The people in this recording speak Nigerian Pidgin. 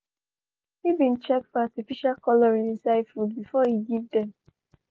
he been check for artificial colouring inside food before he give them